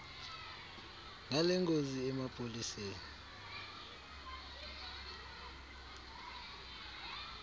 ngale ngozi emapoliseni